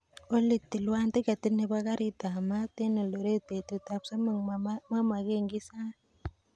Olly tilwan tiketit nebo karit ab maat en eldoret betut ab somok mamagen kiy sait